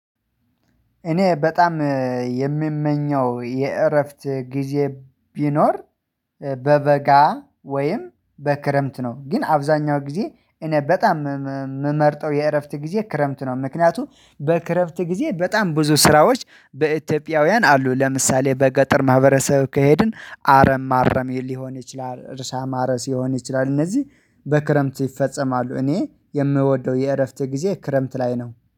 እኔ በጣም የሚመኘው የእረፍት ጊዜ ቢኖር በበጋ ወይም በክረምት ነው። ግን አብዛኛው ጊዜ እኔ በጣም የምመርጠው የእረፍት ጊዜ ክረምት ነው። ምክንያቱም በክረፍት ጊዜ በጣም ብዙ ስራዎች በኢትዮጵያውያን አሉ። ለምሳሌ በገጠር ማህበረሰብ ከሄድን አረም ማረም ሊሆን ይችላል እርሻ ማረስ ሊሆን ይችላል። እነዚህ በክረምት ይፈጸማሉ። እኔ የምወደው የእረፍት ጊዜ ክረምት ላይ ነው